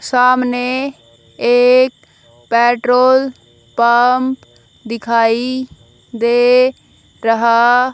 सामने एक petrol pump दिखाई दे रहा--